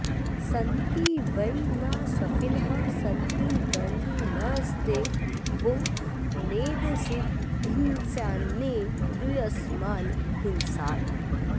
सन्ति॒ वै नः॑ श॒फिनः॒ सन्ति॑ द॒ण्डिन॒स्ते वो॒ नेद्धि॒नसा॒न्न्येद्यू॒यम॒स्मान् हि॒नसा॑त